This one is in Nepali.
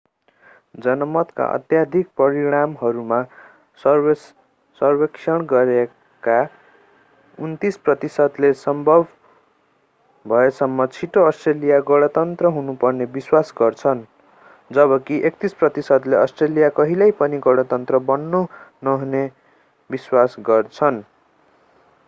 जनमतका अत्यधिक परिणामहरूमा सर्वेक्षण गरिएका 29 प्रतिशतले सम्भव भएसम्म छिटो अस्ट्रेलिया गणतन्त्र हुनुपर्ने विश्वास गर्छन् जबकि 31 प्रतिशतले अस्ट्रेलिया कहिल्यै पनि गणतन्त्र बन्न नहुने विश्वास गर्छन्